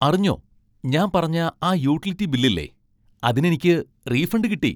അറിഞ്ഞോ, ഞാൻ പറഞ്ഞ ആ യൂട്ടിലിറ്റി ബിൽ ഇല്ലേ, അതിനെനിക്ക് റീഫണ്ട് കിട്ടി.